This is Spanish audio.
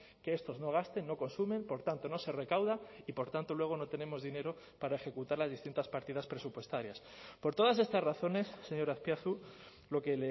que estos no gasten no consumen por tanto no se recauda y por tanto luego no tenemos dinero para ejecutar las distintas partidas presupuestarias por todas estas razones señor azpiazu lo que